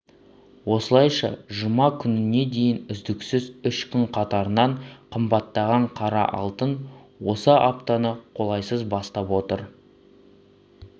осылайша жұма күніне дейін үздіксіз үш күн қатарынан қымбаттаған қара алтын осы аптаны қолайсыз бастап отыр